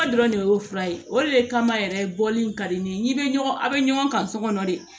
Ba dɔrɔn de y'o fura ye o de kama yɛrɛ bɔli in ka di ne ye n'i bɛ ɲɔgɔn a bɛ ɲɔgɔn kan so kɔnɔ de